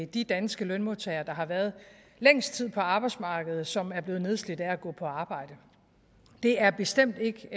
de danske lønmodtagere der har været længst tid på arbejdsmarkedet og som er blevet nedslidt af at gå på arbejde det er bestemt ikke